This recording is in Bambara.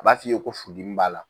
N b'a fiye ko furu dimi b'a la.